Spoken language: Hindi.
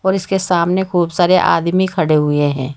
और इसके सामने खूब सारे आदमी खड़े हुए हैं।